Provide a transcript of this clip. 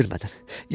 Mənə bildirmədən.